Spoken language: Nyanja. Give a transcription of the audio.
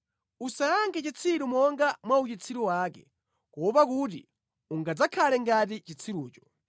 Usayankhe chitsiru monga mwa uchitsiru wake, kuopa kuti ungadzakhale ngati chitsirucho.